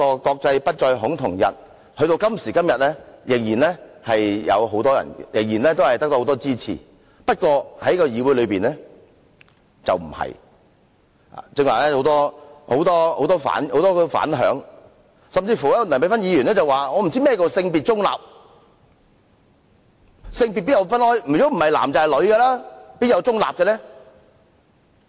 "國際不再恐同日"至今仍得到很多人支持，不過在議會內卻非如此，剛才有很多反響，梁美芬議員甚至說：不知何謂"性別中立"，性別不是男性便是女姓，哪有中立呢？